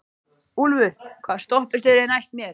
Úlfur, hvaða stoppistöð er næst mér?